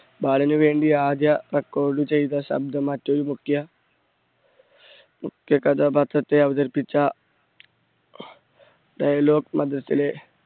ബാലനു വേണ്ടി ആദ്യ record ചെയ്ത ശബ്‌ദം മറ്റൊരു മുഖ്യ മുഖ്യ കഥാപാത്രത്തെ അവതരിപ്പിച്ച dialogue മധ്യത്തിലെ